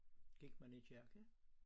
Gik man i kirke?